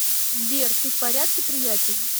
сбер ты в порядке приятель